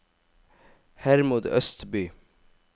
Hermod Østby